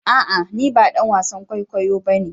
A'a! Ni ba dan wasan kwaikwayo ba ne.